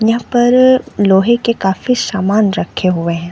यहाँ पर लोहे के काफी सामान रखे हुए है।